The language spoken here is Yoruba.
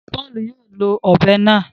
Paulu yóò ló òbé náà